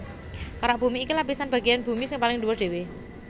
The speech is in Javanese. Kerak bumi iku lapisan bagéyan bumi sing paling dhuwur dhéwé